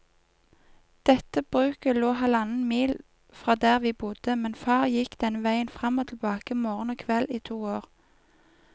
Dette bruket lå halvannen mil fra der vi bodde, men far gikk denne veien fram og tilbake morgen og kveld i to år.